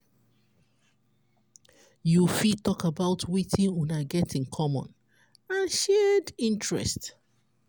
you fit talk about wetin una get in common and shared interest